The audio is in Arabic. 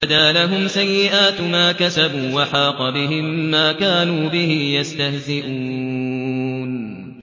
وَبَدَا لَهُمْ سَيِّئَاتُ مَا كَسَبُوا وَحَاقَ بِهِم مَّا كَانُوا بِهِ يَسْتَهْزِئُونَ